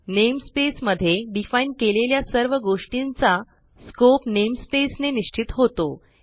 namespace मध्ये define केलेल्या सर्व गोष्टींचा स्कोप नेमस्पेस ने निश्चित होतो